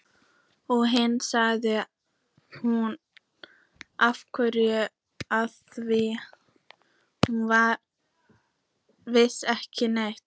Og hitt sagði hún ekki afþvíað hún vissi ekki neitt.